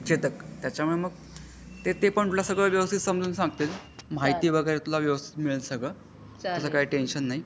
चेतक त्याचमुळे मग ते पण प्लस तुला सगळं वेवस्तीत समझून सांगतील महती वगैरे वेवस्तीत मिळेल सगळं. त्याचा काही टेन्शन नाही.